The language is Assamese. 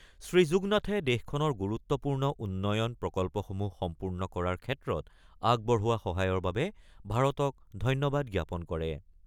শ্ৰীযুগনাথে দেশখনৰ গুৰুত্বপূৰ্ণ উন্নয়ন প্ৰকল্পসমূহ সম্পূৰ্ণ কৰাৰ ক্ষেত্ৰত আগবঢ়োৱা সহায়ৰ বাবে ভাৰতক ধন্যবাদ জ্ঞাপন কৰে।